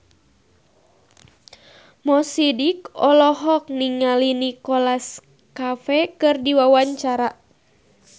Mo Sidik olohok ningali Nicholas Cafe keur diwawancara